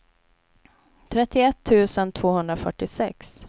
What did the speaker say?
trettioett tusen tvåhundrafyrtiosex